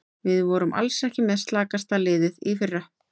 Við vorum alls ekki með slakasta liðið í fyrra.